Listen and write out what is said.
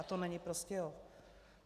A to není Prostějov.